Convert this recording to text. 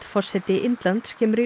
forseti Indlands kemur í